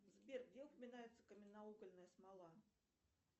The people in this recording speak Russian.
сбер где упоминается каменноугольная смола